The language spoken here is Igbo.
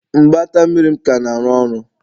Mgbata mmiri m ka na-arụ ọrụ?